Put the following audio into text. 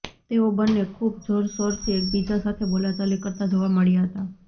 તેઓ બન્ને ખૂબ જોરશોરથી એકબીજા સાથે બોલાચાલી કરતા જોવા મળ્યા હતા